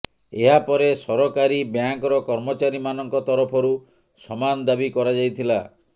ଏହା ପରେ ସରକାରୀ ବ୍ୟାଙ୍କର କର୍ମଚାରୀମାନଙ୍କ ତରଫରୁ ସମାନ ଦାବି କରାଯାଇଥିଲା